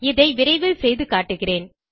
இதை விரைவில் செய்து காட்டுகிறேன்